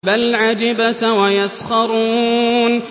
بَلْ عَجِبْتَ وَيَسْخَرُونَ